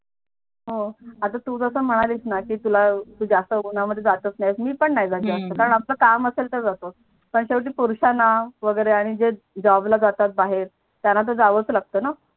आता तु जस म्हणालीस णा की तुला तु जास्त उना मध्ये जात नाही मी पण नाही जात जास्त कारण आपल काम असलतर जातो पण त्या पुरुषणा वगेरे आणि जे Job ला जाते बाहेर त्यांना तर जावेच लागतात णा